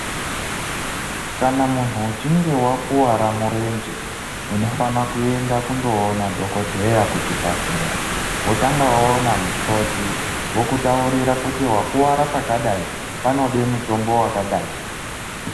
Kana munhu uchinge wakwara murenje uno fana kuenda kundo ona dhokoteya ku chibhedhlera wotanga waona mukoti wokutaurira kuti wakwara pakadai panode mutombo wakadai.